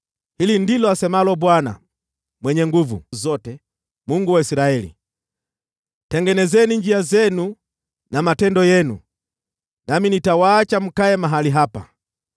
Hili ndilo asemalo Bwana Mwenye Nguvu Zote, Mungu wa Israeli: Tengenezeni njia zenu na matendo yenu, nami nitawaacha mkae mahali hapa.